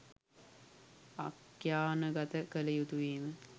ආඛ්‍යානගත කළ යුතු වීම.